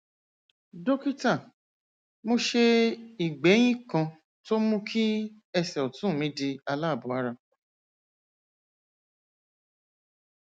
dókítà mo ṣe ìgbéyín kan tó mú kí ẹsè òtún mi di aláàbò ara